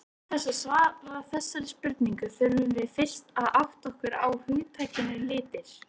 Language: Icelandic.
Til þess að svara þessari spurningu þurfum við fyrst að átta okkur á hugtakinu litir.